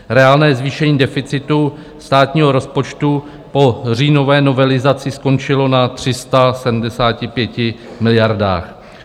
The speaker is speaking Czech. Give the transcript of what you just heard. Reálné zvýšení deficitu státního rozpočtu po říjnové novelizaci skončilo na 375 miliardách.